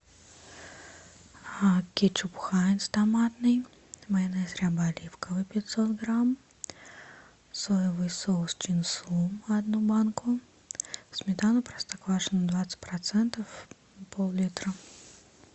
кетчуп хайнц томатный майонез ряба оливковый пятьсот грамм соевый соус чин сум одну банку сметану простоквашино двадцать процентов поллитра